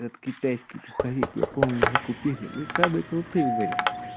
этот китайский пуховик я помню мы купили мы самые крутые были